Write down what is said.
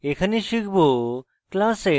এখানে শিখব